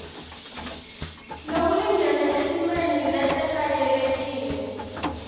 lokulingene etimeni letetayelekile